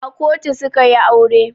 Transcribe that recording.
A kotu su ka yi aure.